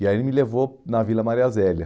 E aí ele me levou na Vila Maria Zélia.